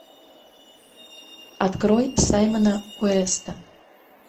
открой саймона уэста